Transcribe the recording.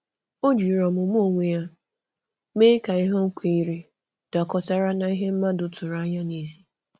Ọ jiri ọmụmụ onwe ya mee ka ihe ọ kweere dakọtara na ihe mmadụ tụrụ anya n’èzí.